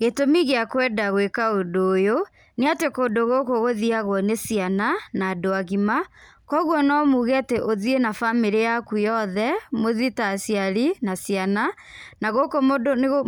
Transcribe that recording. Gĩtũmi gĩa kwenda gwĩka ũndũ ũyũ, nĩatĩ kũndũ gũkũ gũthiagwo nĩ ciana, na andũ agima, kwoguo nomuge atĩ ũthiĩ na bamĩrĩ yaku yothe, mũthii ta aciari, na ciana, na gũkũ